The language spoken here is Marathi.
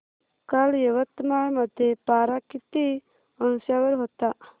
काल यवतमाळ मध्ये पारा किती अंशावर होता